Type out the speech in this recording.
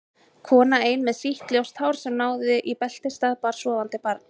Kona ein með sítt ljóst hár sem náði í beltisstað, bar sofandi barn.